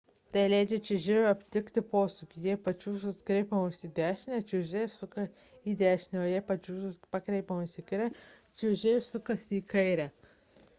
tai leidžia čiuožėjui atlikti posūkį jei pačiūžos pakreipiamos į dešinę čiuožėjas suka į dešinę o jei pačiūžos pakreipiamos į kairę čiuožėjas suka į kairę